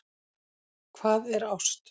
Hvað er ást